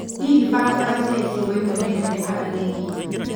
hihi barabara cia icigo imwe nĩ nene kana nĩ nini